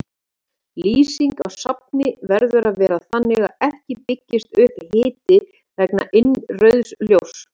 Lýsing á safni verður að vera þannig að ekki byggist upp hiti vegna innrauðs ljóss.